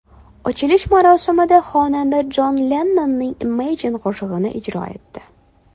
Ochilish marosimida xonanda Jon Lennonning Imagine qo‘shig‘ini ijro etdi.